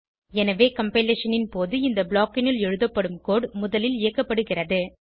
எனவே கம்பைலேஷன் ன் போது இந்த ப்ளாக் னுள் எழுதப்படும் கோடு முதலில் இயக்கப்படுகிறது